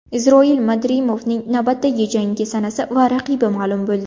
Isroil Madrimovning navbatdagi jangi sanasi va raqibi ma’lum bo‘ldi.